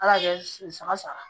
Ala y'a kɛ saga sara